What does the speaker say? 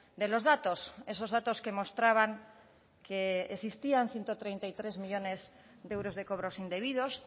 de los datos esos datos que mostraban que existían ciento treinta y tres millónes de euros de cobros indebidos